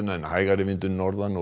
en hægari vindur norðan og